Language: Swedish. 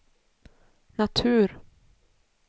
natur